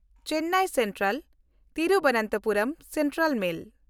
Chennai ᱥᱮᱱᱴᱨᱟᱞ–ᱛᱤᱨᱩᱵᱚᱱᱛᱷᱚᱯᱩᱨᱚᱢ central ᱢᱮᱞ